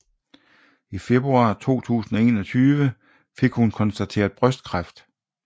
I februar 2021 fik hun konstateret brystkræft